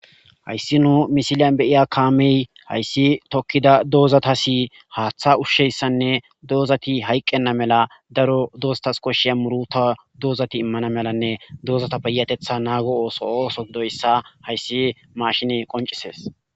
Hayssi nu misiliyan beyiya kaamey hayssi tokkida doozata si haaththa ushsheyssanne doozati hayqqenna mela daro doostas koshshiya muruta doozati immana melanne doozata beyatetha naago ooso ooso doyssa hayssi mashine qoncisees